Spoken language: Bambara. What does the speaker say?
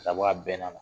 Ka bɔ a bɛnn'a la